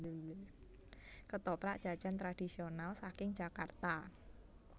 Ketoprak jajan tradisional saking Jakarta